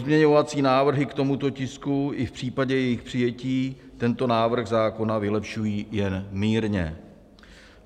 Pozměňovací návrhy k tomuto tisku i v případě jejich přijetí tento návrh zákona vylepšují jen mírně.